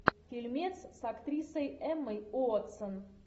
фильмец с актрисой эммой уотсон